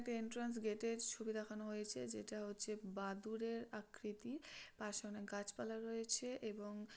একটা entrance gate -এর ছবি দেখানো হয়েছে যেটা হচ্ছে বাদুরের আকৃতি পাশে অনেক গাছপালা রয়েছে এবং --